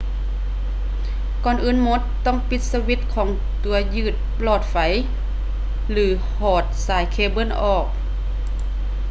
ກ່ອນອື່ນໝົດ ຕ້ອງປີດສະວິດຂອງຕົວຍຶດຫຼອດໄຟ ຫຼື ຖອດສາຍເຄເບິ້ນອອກ